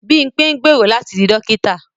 Bímpé ń gbèrò láti di dókítà